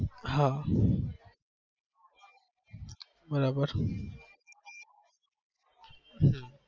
હા બરાબર હમ